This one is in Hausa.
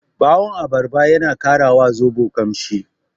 Ɓawon abarba yana ƙara wa zoɓo ƙamshi.